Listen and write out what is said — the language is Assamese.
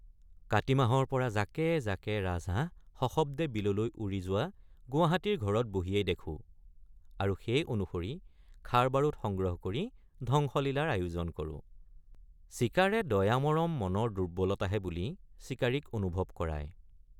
কাতিমাহৰপৰা জাকে জাকে ৰাজহাঁহ সশব্দে বিললৈ উৰি যোৱা গুৱাহাটীৰ ঘৰত বহিয়েই দেখোঁ আৰু সেই অনুসৰি খাৰবাৰুদ সংগ্ৰহ কৰি ধ্বংসলীলাৰ আয়োজন কৰোঁ ৷ চিকাৰে দয়ামৰম মনৰ দুৰ্বলতাহে বুলি চিকাৰীক অনুভৱ কৰায়।